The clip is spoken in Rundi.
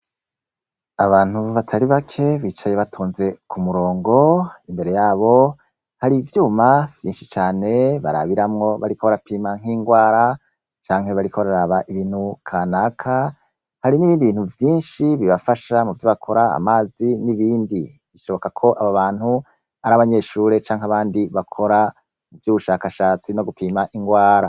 abantu batari bake bicaye kumruongo imbere yabo hari ivyuma vyinshi cane bariko brapima nki rwara canke bariko baraba ikintu kanaka, harimwo ibintu vyinshi cane bibafsha gukora mamzi nibindi boneka ko abo bantu ari abanyeshure canke abandi bakora ivyubushashatsi no gupima ingwara.